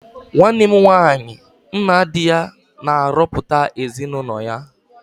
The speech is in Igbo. Nwanne m nwaanyị nna di ya na-arọpụtara ezinụlọ ya.